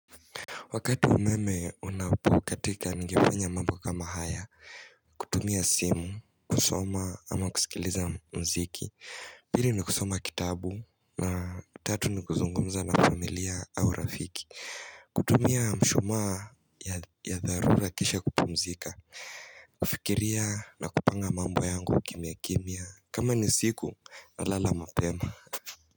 Wakati umeme unapokatika ningefanya mambo kama haya, kutumia simu, kusoma ama kusikiliza muziki, pili ni kusoma kitabu, na tatu ni kuzungumza na familia au rafiki. Kutumia mshuma ya dharura kisha kupumzika, kufikiria na kupanga mambu yangu kimya kimya, kama ni usiku nalala mapema.